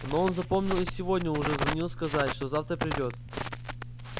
но он запомнил и сегодня уже звонил сказать что завтра придёт